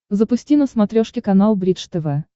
запусти на смотрешке канал бридж тв